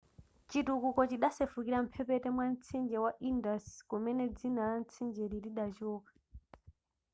chitukuko chidasefukira mphepete mwa mtsinje wa indus kumene dzina la mtsinjeli lidachoka